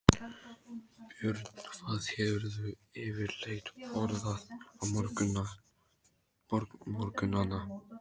Björn: Hvað hefurðu yfirleitt borðað á morgnanna?